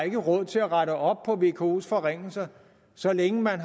er råd til at rette op på vkos forringelser så længe man